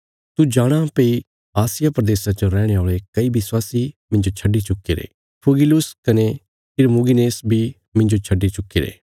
तू जाणाँ भई आसिया प्रदेशा च रैहणे औल़े कई विश्वासी मिन्जो छड्डी चुक्कीरे फुगिलुस कने हिरमुगिनेस बी मिन्जो छड्डी चुक्कीरे